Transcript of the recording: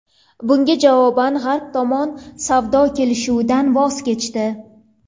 Bunga javoban g‘arb tomon savdo kelishuvidan voz kechdi.